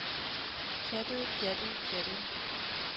pjattede pjattede pjattede